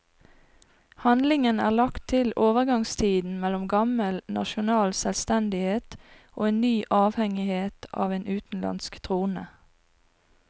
Handlingen er lagt til overgangstiden mellom gammel nasjonal selvstendighet og en ny avhengighet av en utenlandsk trone.